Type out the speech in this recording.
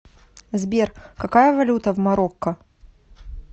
сбер какая валюта в марокко